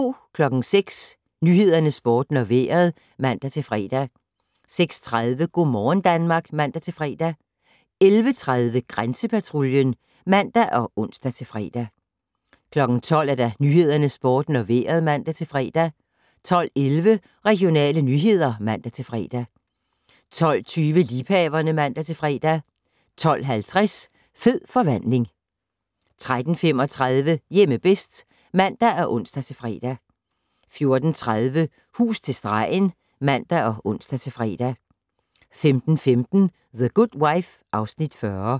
06:00: Nyhederne, Sporten og Vejret (man-fre) 06:30: Go' morgen Danmark (man-fre) 11:30: Grænsepatruljen (man og ons-fre) 12:00: Nyhederne, Sporten og Vejret (man-fre) 12:11: Regionale nyheder (man-fre) 12:20: Liebhaverne (man-fre) 12:50: Fed forvandling 13:35: Hjemme bedst (man og ons-fre) 14:30: Hus til stregen (man og ons-fre) 15:15: The Good Wife (Afs. 40)